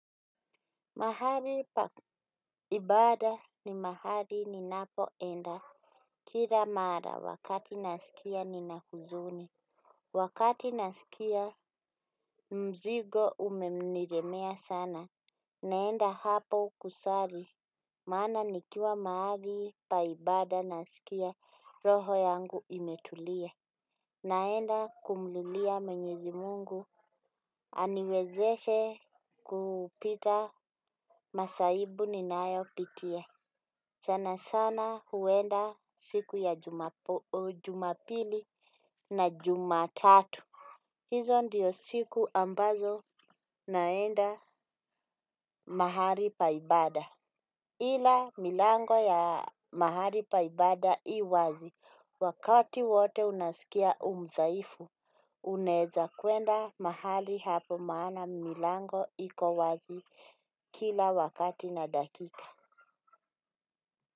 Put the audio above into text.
Mahali pa ibada ni mahali ninapoenda, kila mara wakati nasikia nina huzuni, wakati nasikia mzigo umenilemea sana, naenda hapo kusali, maana nikiwa mahali pa ibada nasikia roho yangu imetulia, naenda kumlilia mwenyezi mungu, aniwezeshe kupita masaibu ninayopitia. Sana sana huenda siku ya jumapili na jumatatu. Hizo ndio siku ambazo naenda mahali pa ibada. Ila milango ya mahali pa ibada i wazi wakati wote unasikia u mdhaifu. Unaeza kwenda mahali hapo maana milango iko wazi. Kila wakati na dakika.